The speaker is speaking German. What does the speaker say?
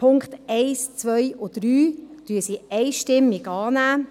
die Punkte 1, 2 und 3 nimmt sie einstimmig an.